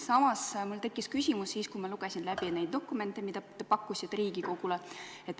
Samas tekkis mul küsimus, kui ma lugesin neid dokumente, mida te pakkusite Riigikogule.